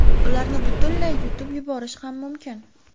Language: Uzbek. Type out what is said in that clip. Ularni butunlay yutib yuborish ham mumkin.